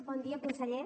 bon dia conseller